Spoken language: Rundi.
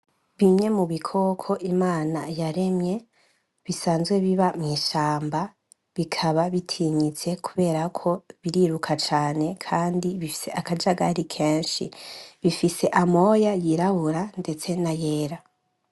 Bimwe mu bikoko imana yaremye bisanzwe biba mw'ishamba bikaba bitinyitse kuberako biriruka cane kandi bifise akajagari kenshi, bifise amoya y'iraburura ndetse nayera.